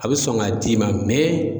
A bɛ sɔn ka d'i ma